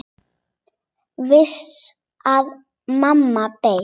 Vissi að mamma beið.